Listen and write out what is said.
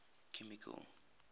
chemical